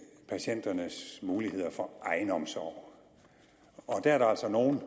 patienternes muligheder for egenomsorg der er der altså nogle